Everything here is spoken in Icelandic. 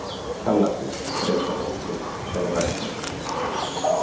Kjallakur er einn af okkur, sagði Ragnheiður.